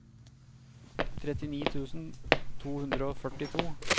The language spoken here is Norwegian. trettini tusen to hundre og førtito